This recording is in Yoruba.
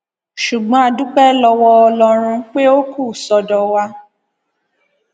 ṣùgbọn a dúpẹ lọwọ ọlọrun pé ó kù sọdọ wa